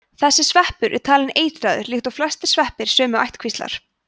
þessi sveppur er talinn eitraður líkt og flestir sveppir sömu ættkvíslar